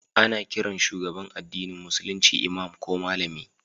Ana kiran shugaban addinin Musulunci Imam ko Malami